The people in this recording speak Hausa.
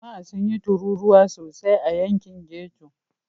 Jama'a sun yi tururuwa sosai a yankin ghetto.